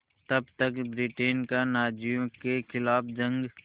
तब तक ब्रिटेन का नाज़ियों के ख़िलाफ़ जंग